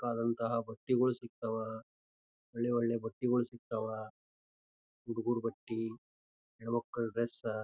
ಬೇಕಾದಂತಹ ಬಟ್ಟಿಗಳು ಸಿಗತ್ವ್ ಒಳ್ಳೆ ಒಳ್ಳೆ ಬಟ್ಟಿಗಳು ಸಿಗತ್ವ್ ಹುಡುಗ್ರು ಬಟ್ಟಿ ಹೆನ್ನಮಕ್ಕಳ ಡ್ರೆಸ್ .